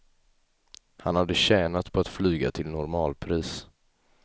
Han hade tjänat på att flyga till normalpris.